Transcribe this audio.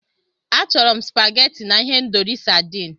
Achọrọ m supageti na ihendori sadịn.